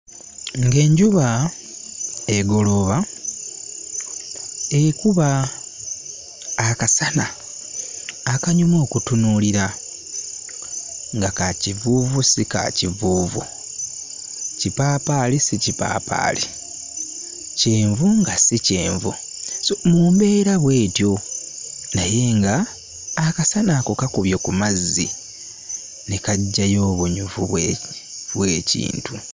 Ng'enjuba egolooba ekuba akasana akanyuma okutunuulira nga ka kivuuvu si ka kivuuvu, kipaapaali si kipaapaali, kyenvu nga si kyenvu, sso mu mbeera bw'etyo naye ng'akasana ako kakubye ku mazzi ne kaggyayo obunyuvu bwe bw'ekintu.